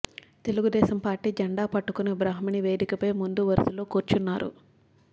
Telugu Desam Party జెండా పట్టుకుని బ్రాహ్మణి వేదికపై ముందు వరుసలో కూర్చున్నారు